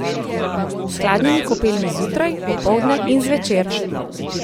S hladnimi kopelmi zjutraj, opoldne in zvečer!